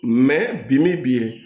bi bi